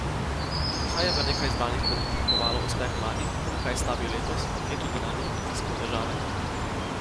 Kaj je v nekaj izbranih podjetjih kovalo uspeh lani, na kaj stavijo letos, kje tudi na njih pritiskajo težave?